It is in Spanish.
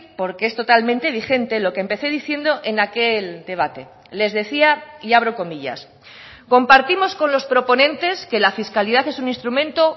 porque es totalmente vigente lo que empecé diciendo en aquel debate les decía y abro comillas compartimos con los proponentes que la fiscalidad es un instrumento